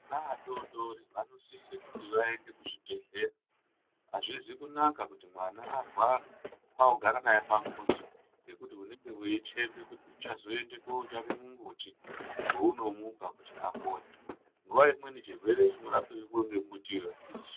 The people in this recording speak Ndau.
Vana vadodori vanosise kuti vaende kuzvibhedhlera , azvizi kunaka kuti mwana arwara kwakugara naye pamuzi ngekuti unenge wei thembe kuti uchazoende kotsvake mumbuti wounomupa kuti apone, nguwa imweni chirwere chinorapwe ngemumbuti uwowo achisichopi.